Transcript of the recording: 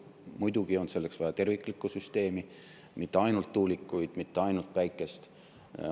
Muidugi on selleks vaja terviklikku süsteemi, mitte ainult tuulikuid, mitte ainult päikest.